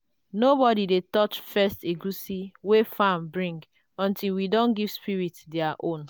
nobody dey touch first egusi wey farm bring until we don give spirit their own.